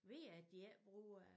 Ved at de ikke bruger